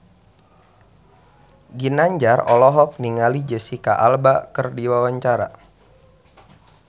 Ginanjar olohok ningali Jesicca Alba keur diwawancara